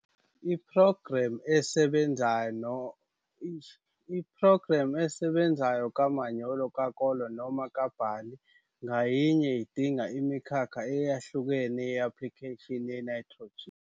Iphrogremu esebenzayo kamanyolo kakolo noma kabhali ngayinye idinga imikhakha eyahlukene ye-aplikheshini yenayithrojini.